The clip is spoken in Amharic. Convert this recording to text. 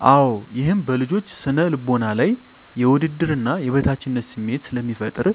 -አወ ይህም በልጆች ስነ ልቦና ላይ የውድድርና የበታችነት ስሜት ስለሚፈጠር ...